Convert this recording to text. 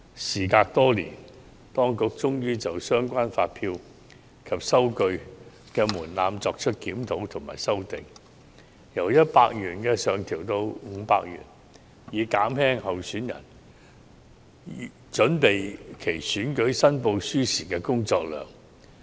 時隔多年，當局終於就相關發票及收據的門檻作出檢討和修訂，由100元上調至500元，以減輕候選人準備其選舉申報書時的工作量。